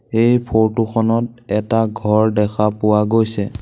এই ফটো খনত এটা ঘৰ দেখা পোৱা গৈছে।